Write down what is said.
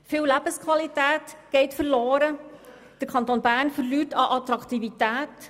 Es geht viel Lebensqualität verloren und der Kanton Bern verliert an Attraktivität.